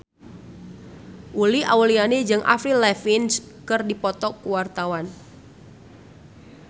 Uli Auliani jeung Avril Lavigne keur dipoto ku wartawan